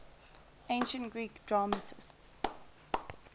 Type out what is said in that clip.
ancient greek dramatists